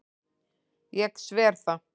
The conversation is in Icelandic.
Ég sver það.